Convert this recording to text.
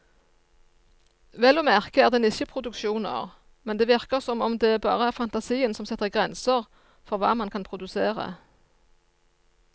Vel å merke er det nisjeproduksjoner, men det virker som om det bare er fantasien som setter grenser for hva man kan produsere.